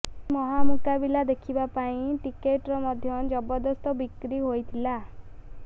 ଏହି ମହାମୁକାବିଲା ଦେଖିବା ପାଇଁ ଟିକେଟର ମଧ୍ୟ ଜବରଦସ୍ତ ବିକ୍ରି ହୋଇଥିଲା